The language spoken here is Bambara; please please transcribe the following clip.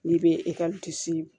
N'i bɛ